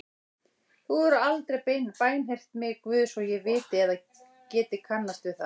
Þú hefur aldrei bænheyrt mig Guð svo ég viti eða geti kannast við.